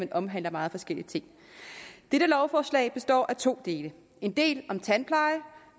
de omhandler meget forskellige ting dette lovforslag består af to dele en del om tandpleje